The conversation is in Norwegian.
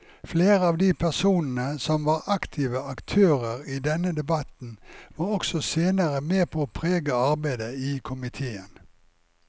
Flere av de personene som var aktive aktører i denne debatten var også senere med på å prege arbeidet i komiteen.